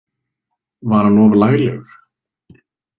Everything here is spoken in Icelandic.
Var hann of laglegur?